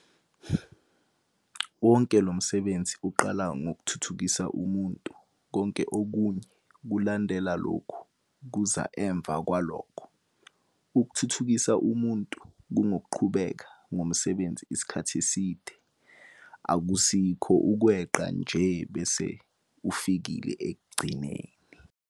Wonke lo msebenzi uqala ngokuthuthukisa umuntu - konke okunye kulandela lokhu, kuza emva kwalokho. Ukuthuthukisa kungukuqhubeka ngomsebenzi isikhathi eside, akusikho ukweqa nje bese ufikile ekugcineni.